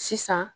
Sisan